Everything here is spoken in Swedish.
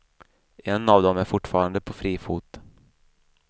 En av dem är fortfarande på fri fot.